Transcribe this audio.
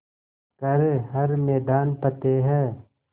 कर हर मैदान फ़तेह